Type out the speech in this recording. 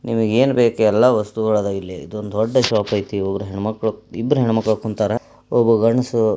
ನಿಮಗೇ ಏನು ಬೇಕೂ ಎಲ್ಲ ವಸ್ತುಗಳೂ ಅದವ್ ಇಲ್ಲಿ ಇದೊಂದ ದೂಡ್ಡ ಶಾಪ್ ಇದೆ ಇಬ್ಬರೂ ಹೆಣ್ಣು ಮಕ್ಕಳೂ ಕುಂತರೇ ಒಬ್ಬ ಗಂಡಸು--